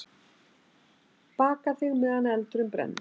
Baka þig meðan eldurinn brennur.